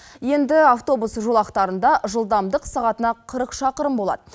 енді автобус жолақтарында жылдамдық сағатына қырық шақырым болады